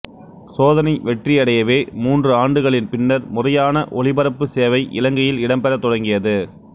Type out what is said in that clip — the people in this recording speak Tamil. சோதனை வெற்றியடையவே மூன்று ஆண்டுகளின் பின்னர் முறையான ஒலிபரப்புச் சேவை இலங்கையில் இடம்பெறத் தொடங்கியது